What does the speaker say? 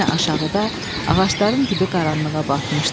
Yenə aşağıda ağacların dibi qaranlığa batmışdı.